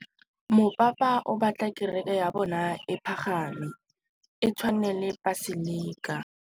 Mopapa o batla kereke ya bone e pagame, e tshwane le paselika.